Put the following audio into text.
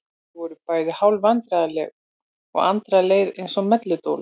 Þau voru bæði hálf vandræðaleg og Andra leið eins og melludólg.